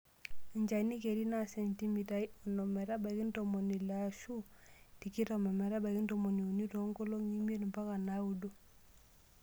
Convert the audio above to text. Enchani keri naa sentimitai onom metabaiki ntomoni ile aashun tikitam metabaiki ntomoni uni too nkolong'I imiet mpaka naaudo.